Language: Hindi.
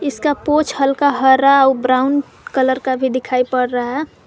इसका पूछ हल्का हरा ब्राउन कलर का भी दिखाई पड़ रहा है।